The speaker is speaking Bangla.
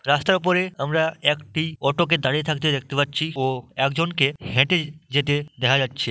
রাস্তার ওপরে আমরা একটি অটো কে দাড়িয়ে থাকতে দেখতে পাচ্ছি ও একজন কে হেঁটে যেতে দেখা যাচ্ছে।